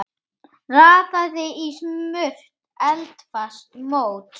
Raðið í smurt eldfast mót.